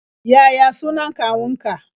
Yaya sunan kawunka?